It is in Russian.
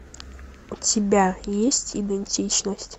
у тебя есть идентичность